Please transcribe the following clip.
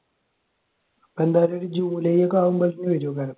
അപ്പോൾ എന്തായാലും ഒരു ജൂലൈ ഒക്കെ ആകുമ്പോഴേക്കും വരും അന്നേരം